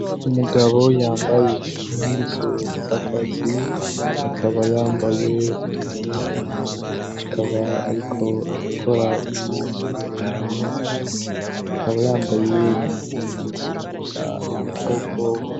Umugabo yambaye impuzu zakazi akaba yambaye n'amarori akaba, ariko arakora ibintu kumeza akaba yambaye n'ibintu bifuka amaboko.